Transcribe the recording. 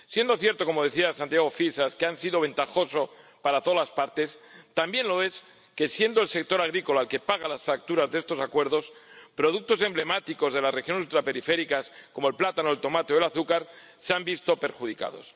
Siendo cierto —como decía Santiago Fisas— que ha sido ventajoso para todas las partes, también lo es que siendo el sector agrícola el que paga las facturas de estos Acuerdos, productos emblemáticos de las regiones ultraperiféricas —como el plátano, el tomate o el azúcar— se han visto perjudicados.